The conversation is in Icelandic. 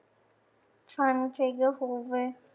Fann fyrir húfu